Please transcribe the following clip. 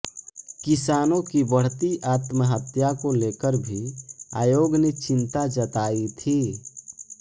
किसानों की बढ़ती आत्महत्या को लेकर भी आयोग ने चिंता जताई थी